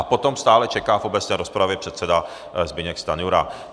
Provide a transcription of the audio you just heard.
A potom stále čeká v obecné rozpravě předseda Zbyněk Stanjura.